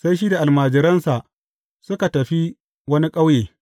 Sai shi da almajiransa suka tafi wani ƙauye.